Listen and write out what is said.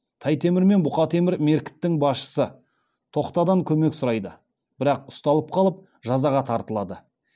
тай темір мен бұқа темір меркіттің басшысы тоқтадан көмек сұрайды бірақ ұсталып қалып жазаға тартылады